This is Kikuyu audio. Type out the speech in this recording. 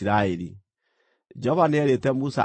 Jehova nĩeerĩte Musa atĩrĩ,